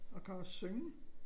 Og kan også synge